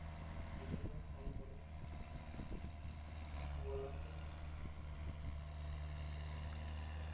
এইজন্যই ফোন করেছিলাম বলার জন্য